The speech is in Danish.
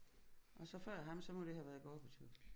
Og så før ham så må det have været Gorbatjov